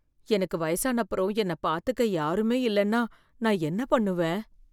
எனக்கு வயசானப்பறம், என்னைப் பார்த்துக்க யாருமே இல்லனா நான் என்ன பண்ணுவேன்?